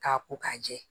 K'a ko k'a jɛ